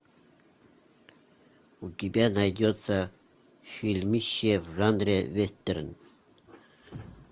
у тебя найдется фильмище в жанре вестерн